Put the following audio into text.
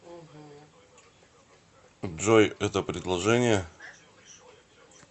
джой это предложение